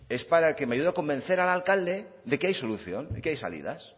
es para que me ayude a convencer al alcalde de que hay solución de que hay salidas